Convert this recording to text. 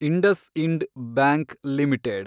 IndusInd bank limited